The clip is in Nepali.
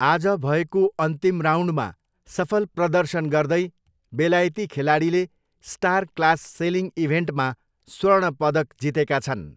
आज भएको अन्तिम राउन्डमा सफल प्रदर्शन गर्दै बेलायती खेलाडीले स्टार क्लास सेलिङ इभेन्टमा स्वर्ण पदक जितेका छन्।